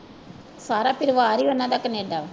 ਸਾਰਾ ਪਰਿਵਾਰ ਹੀ ਉਹਨਾਂ ਦਾ ਕਨੇਡਾ।